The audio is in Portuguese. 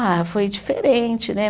Ah, foi diferente, né?